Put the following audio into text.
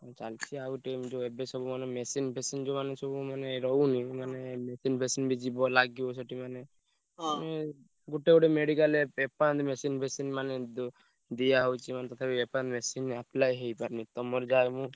ଚାଲିଚି ଆଉ ଏବେ ସବୁ ମାନେ machine ଫେସିନି ଯୋଉମାନେ ସବୁ ମାନେ ରହୁନି ମାନେ machine ଫେସିନି ବି ଯିବ ଲାଗିବ ସେଠି ମାନେ ଗୋଟେ ଗୋଟେ medical ରେ machine ଫେସିନି ମାନେ ଦିଆହଉଛି ମାନେ ତଥାପି machine apply ହେଇପାରୁନି ତମର ଯାହା ବି ହଉ।